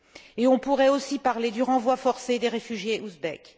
Et on pourrait aussi parler du renvoi forcé des réfugiés ouzbeks.